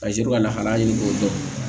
Kaze sɔrɔ ka lahalaya ɲini k'o dɔn